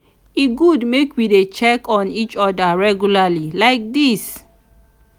e good make we dey check on each oda regularly like dis.